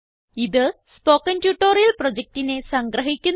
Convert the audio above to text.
ഇത് spoken tutorial പ്രൊജക്റ്റിനെ സംഗ്രഹിക്കുന്നു